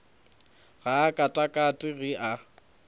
ga a katakate ge a